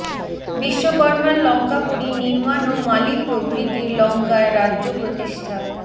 বিশ্বকর্ম্মার লঙ্কাপুরী নির্ম্মাণ ও মালী প্রভৃতির লঙ্কায় রাজ্য প্রতিষ্ঠা